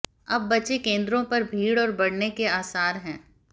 अब बचे केंद्रों पर भीड़ और बढ़ने के आसार हैं